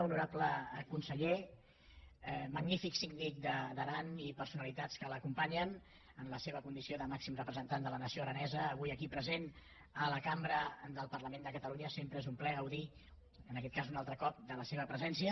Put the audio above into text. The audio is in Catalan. honorable conse·ller magnífic síndic d’aran i personalitats que l’acom·panyen en la seva condició de màxim representant de la nació aranesa avui aquí present a la cambra del parla·ment de catalunya sempre és un plaer gaudir en aquest cas un altre cop de la seva presència